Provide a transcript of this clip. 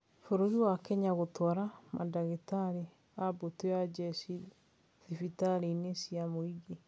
Bũrũri wa Kenya gũtwara mandagĩtarĩ a mbũtũ ya njeshi thibitarĩ-inĩ cia mũingĩ